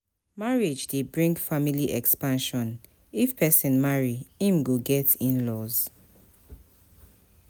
Marriage de bring family expansion If persin marry im go get inlaws